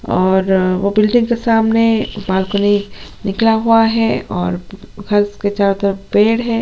और वो बिल्डिंग के सामने बालकॉनी निकला हुआ है और फर्श के चारों तरफ पेड़ है--